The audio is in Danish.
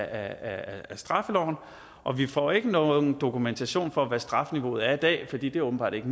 af straffeloven og vi får ikke nogen dokumentation for hvad strafniveauet er i dag fordi det åbenbart ikke